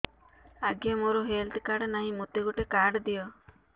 ଆଜ୍ଞା ମୋର health card ନାହିଁ ମୋତେ ଗୋଟେ କାର୍ଡ ଦିଅ